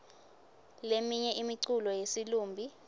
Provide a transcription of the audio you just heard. leminye imiculo yesilumbi